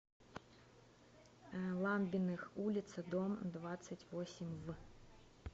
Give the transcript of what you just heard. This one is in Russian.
ламбиных улица дом двадцать восемь в